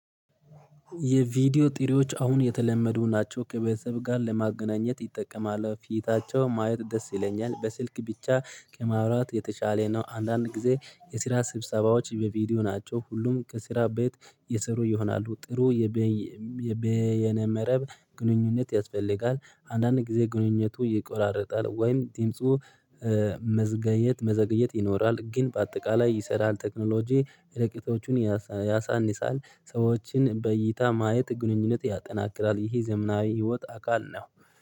የቪዲዮ ጥሪዎች አሁን የተለመዱ ናቸው። ከቤተሰብ ጋር ለማገናኘት ይጠቅማል። ፊታቸው ማየት ደስ ይለኛል። በስልክ ብቻ ከማውራት የተሻለ ነው። አንዳንድ ጊዜ የስራ ስብሰባዎች በቪዲዮ ናቸው። ሁሉም ከስራ ቤት የሰሩ ይሆናሉ። ጥሩ የበይነ-መረብ ግንኙነት ያስፈልጋል። አንዳንድ ጊዜ ግንኙነቱ ይቆራረጣል ወይም ድምፁ መዘገየት፣ መዘገየት ይኖራል። ግን በአጠቃላይ ይሰራል ቴክኖሎጂ። ርቀቶቹን ያሳንሳል። ሰዎችን በይይታ ማየት ግንኙነት ያጠናክራል፣ ይሄ ዘመናዊ ህይወት አካል ነው።